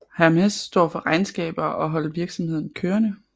Hermes står for regnskaber og holde virksomheden kørende